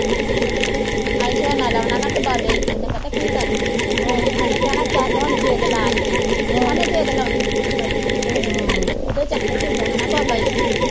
ਅਸੀਂ ਝੋਨਾ ਲਾਉਣਾ ਈ ਤੇ ਬਾਬੇ ਰੀਤੂ ਨੇ ਪਤਾ ਕੀ ਕਰਨਾ ਉਹਨੇ ਕਹਿਣਾ ਚਲ ਹੁਣ ਜਿਦ ਲਾ ਲੀਏ ਉਹਨੇ ਜਿਦ ਲਾਉਣੀ ਹੁੰਦੀ ਆ ਬੜੀ ਉਹ ਤਾਂ ਚੰਗਾ ਸੀਗਾ ਹਨਾ ਬਾਬਾ ਰੀਤੂ।